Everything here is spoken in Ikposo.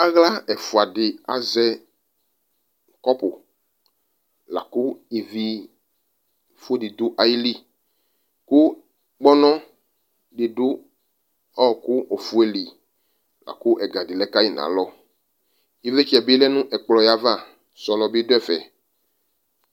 Aɣla ɛfʋa dɩ azɛ kɔpʋ ,lakʋ ivifʋ dɩ dʋ ayili Kʋ kpɔnɔ dɩ dʊ ɔɔkʋ ofue li , lakʋ ɛga dɩ lɛ kayi n'alɔ Ɩvlɩtsɛ bɩ lɛ nʋ ɛkplɔɛ ava , sɔlɔ bɩ dʋ ɛfɛ